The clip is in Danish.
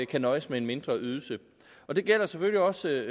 kan nøjes med en mindre ydelse det gælder selvfølgelig også